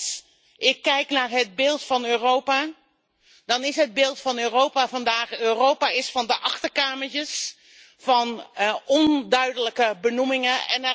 Maar als ik kijk naar het beeld van Europa, dan is het beeld van Europa vandaag Europa is van de achterkamertjes, van onduidelijke benoemingen.